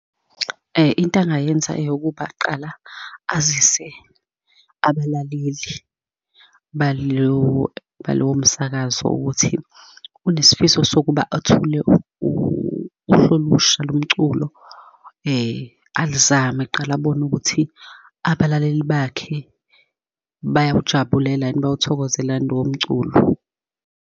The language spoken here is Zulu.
Into angayenza eyokuba kqala azise abalaleli balowo, balowo msakazo ukuthi unesifiso sokuba athole uhlu olusha lomculo, alizame kuqala, abone ukuthi abalaleli bakhe bayakujabulela yini? Bayawuthokozela yini lowomculo.